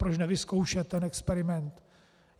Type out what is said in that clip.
Proč nevyzkoušet ten experiment.